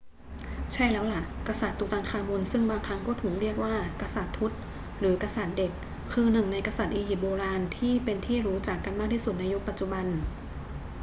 ใช่แล้วล่ะ กษัตริย์ตุตันคามุนซึ่งบางครั้งก็ถูกเรียกว่า กษัตริย์ทุต หรือ กษัตริย์เด็ก คือหนึ่งในกษัตริย์อียิปต์โบราณที่เป็นที่รู้จักกันมากที่สุดในยุคปัจจุบัน